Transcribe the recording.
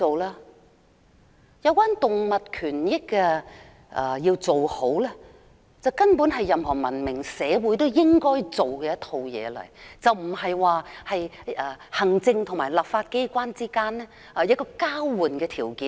維護動物權益根本是任何文明社會都應做的事，並非行政和立法機關之間的交換條件。